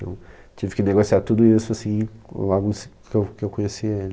Então, tive que negociar tudo isso assim, logo em s que eu que eu conheci ele.